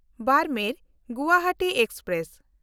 ᱵᱟᱨᱢᱮᱨ–ᱜᱩᱣᱟᱦᱟᱴᱤ express